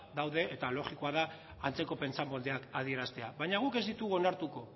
daude eta logikoa da antzeko pentsamoldeak adieraztea baina guk ez ditugu onartuko